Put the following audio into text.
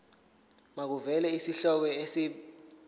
makuvele isihloko isib